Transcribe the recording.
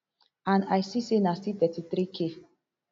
and i see say na still thirty-three k